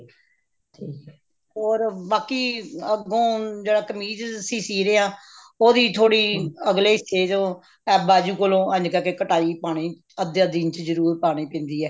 ਠੀਕ ਹੈ or ਬਾਕੀ ਅੱਗੋਂ ਜਿਹੜਾ ਕਮੀਜ਼ ਅਸੀਂ ਸੀ ਰਹੇ ਹਾਂ ਉਹਦੀ ਥੋੜੀ ਅਗਲੇ ਹਿੱਸੇ ਚੋਂ f ਬਾਜੂ ਕੋਲੋਂ ਅੱਗੇ ਜਾ ਕੇ ਕਟਾਈ ਪਾਉਣੀ ਅੱਧੇ ਦਿਨ ਚ ਜਰੂਰ ਪਾਉਣੀ ਪੈਂਦੀ ਹੈ